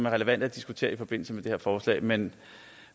relevante at diskutere i forbindelse med det her forslag men